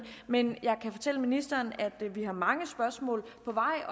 men jeg kan fortælle ministeren at vi har mange spørgsmål